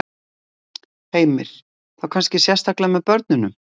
Heimir: Þá kannski sérstaklega með börnunum?